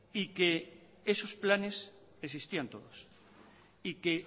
y que esos planes existían todos y que